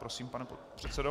Prosím, pane předsedo.